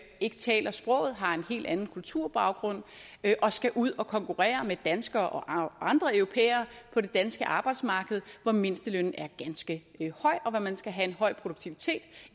ikke taler sproget har en helt anden kulturbaggrund og skal ud at konkurrere med danskere og andre europæere på det danske arbejdsmarked hvor mindstelønnen er ganske høj og hvor man skal have en høj produktivitet